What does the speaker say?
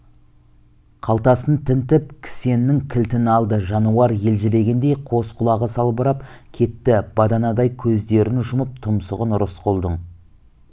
қалтасын тінтіп кісеннің кілтін алды жануар елжірегендей қос құлағы салбырап кетті баданадай көздерін жұмып тұмсығын рысқұлдың